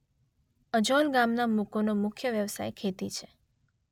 અજોલ ગામના લોકોનો મુખ્ય વ્યવસાય ખેતી છે.